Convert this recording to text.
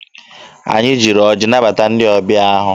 Anyị jiri ọjị nabata ndị ọbịa ahụ.